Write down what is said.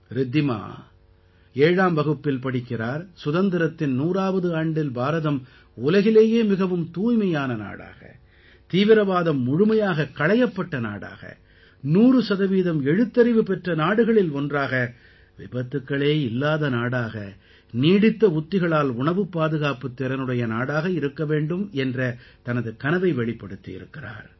ரித்திமா 7ஆம் வகுப்பில் படிக்கிறார் சுதந்திரத்தின் 100ஆவது ஆண்டில் பாரதம் உலகிலேயே மிகவும் தூய்மையான நாடாக தீவிரவாதம் முழுமையாகக் களையப்பட்ட நாடாக 100 சதவீதம் எழுத்தறிவு பெற்ற நாடுகளில் ஒன்றாக விபத்துக்களே இல்லாத நாடாக நீடித்த உத்திகளால் உணவுப் பாதுகாப்புத் திறனுடைய நாடாக இருக்க வேண்டும் என்ற தனது கனவை வெளிப்படுத்தியிருக்கிறார்